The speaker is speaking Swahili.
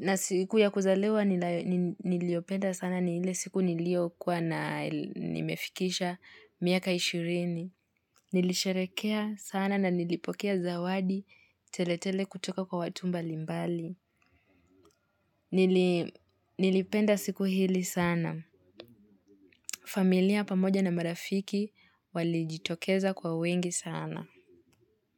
Na siku ya kuzaliwa niliopenda sana ni ile siku nilio kuwa nimefikisha miaka ishirini. Nilisherehekea sana na nilipokea zawadi tele tele kutoka kwa watu mbalimbali. Nilipenda siku hili sana. Familia pamoja na marafiki walijitokeza kwa wingi sana.